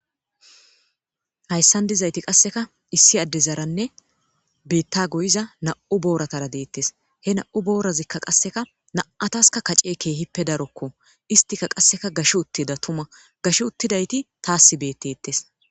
Hayssnan dizayti qassekka issi addezaranne biita goyiza nam7u booratara deetees. He na7u boorazikka qassekka na7ataskka kacce keehippe darokko. Isttika qassekka gashi uttida tuma. Gashi uttidayti taasi beetetees.